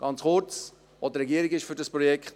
Ganz kurz: Auch die Regierung ist für dieses Projekt.